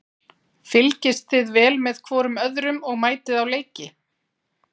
Fylgist þið vel með hvorum öðrum og mætið á leiki?